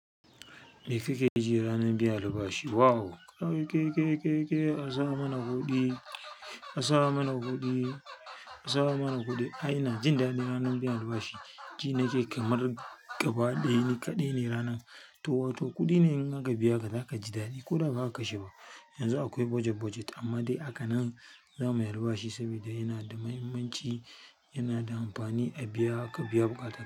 Me kakeji ranar biyan albashi? Wow kai kai a samana kuɗi, a samana kuɗi, a samana kuɗi aea inajin daɗin ranar biyan albashi ji nake kamar gabadai niƙa kaɗai ne ranar to, wato kuɗi ne in aka biya ka, za ka ji daɗi ko da ba ka sha ba. Yanzu akwai budget budget amma dai a kan nan za muye alba shi saboda yana da mahimmanci, yana da amfani a biya, ka biya buƙatun.